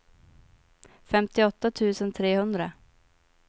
femtioåtta tusen trehundra